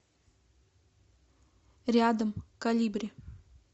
рядом колибри